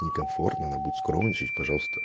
некомфортно она будет скромничать пожалуйста